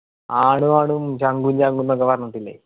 ആളു ആളും ചങ്കും ചങ്കുംന്ന്‌ ഒക്കെ പറഞ്ഞിട്ടില്ലേ